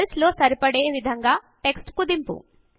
సెల్లో సరిపోయే విధంగా టెక్స్ట్ కుదింపు